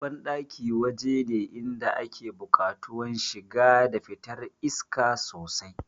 Banɗaki waje ne inda ake buƙatuwan shiga da fitar iska sosai